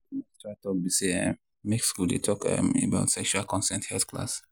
watin i dey try talk be say um make school dey um talk about sexual consent health class.